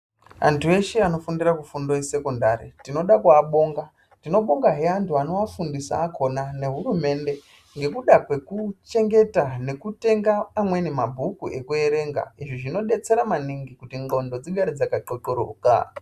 Antu eshe anofundira mufundo wesekondari tinoda kuabonga. Tinobonga zve anhu acho anoafundisazve akhona nehurumende ngekuda kwekuchengeta nekutenga amweni mabhuku ekuerenga. Izvi zvinodetsera maningi kuti ndxondo dzigare dzakaxoxoroka.